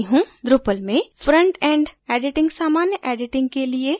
drupal में front end editing सामान्य editing के लिए योग्य है